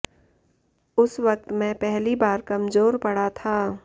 उस वक़्त मैं पहली बार कमजोर पड़ा था